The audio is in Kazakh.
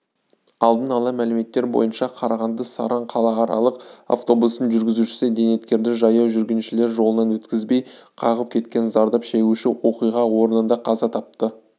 алдын ала мәліметтер бойынша қарағанды-саран қалааралық автобусының жүргізушісі зейнеткерді жаяу жүргіншілер жолынан өткізбей қағып кеткен зардап шегуші оқиға орнында қаза тапты